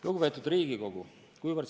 Lugupeetud Riigikogu!